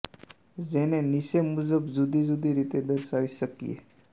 જેને નીચે મુજબ જુદી જુદી રીતે દર્શાવી શકીએ